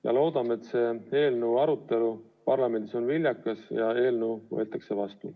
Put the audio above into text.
Ja loodame, et selle eelnõu arutelu parlamendis on viljakas ja eelnõu võetakse seadusena vastu.